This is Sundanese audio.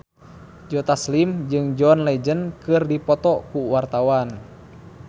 Joe Taslim jeung John Legend keur dipoto ku wartawan